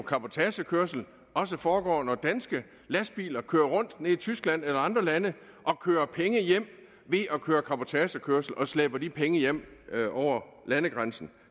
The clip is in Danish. cabotagekørsel også foregår når danske lastbiler kører rundt i tyskland eller i andre lande og kører penge hjem ved at køre cabotagekørsel og slæber de penge hjem over landegrænsen